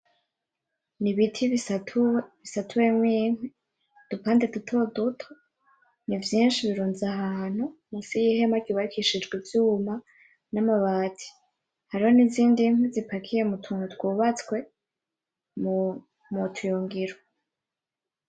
Nibiti bisatuwemo inkwi udupande duto duto nivyinshi birunze ahantu munsi yihema ryubakishijwe ivyuma namabati hariho nizindi nkwi zipakiye mutuntu twubatswe mutuyungiro .